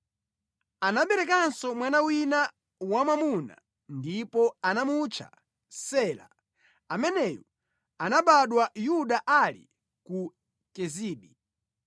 Anaberekanso mwana wina wamwamuna ndipo anamutcha Sela. Ameneyu anabadwa Yuda ali ku Kezibi.